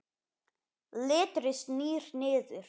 Letrið snýr niður.